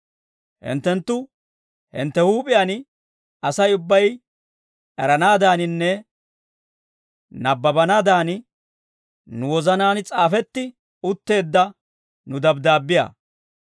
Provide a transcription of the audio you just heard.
Hinttenttu hintte huup'iyaan Asay ubbay eranaadaaninne nabbabanaadan, nu wozanaan s'aafetti utteedda nu dabddaabbiyaa.